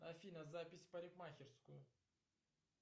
афина запись в парикмахерскую